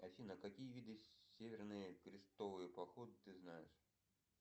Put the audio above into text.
афина какие виды северные крестовые походы ты знаешь